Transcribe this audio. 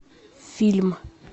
фильм